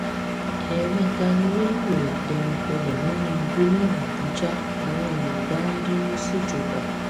ẹẹmẹta ni rélùwéè dẹnu kọlẹ nínú igbó lọnà àbújá làwọn èrò bá ń bínú síjọba